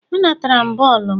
A natara m bọọlụ m.